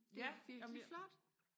det er virkelig flot